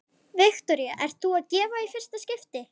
Viktoría: Ert þú að gefa í fyrsta skipti?